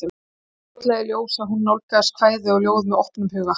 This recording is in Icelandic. Það kom fljótlega í ljós að hún nálgaðist kvæði og ljóð með opnum huga.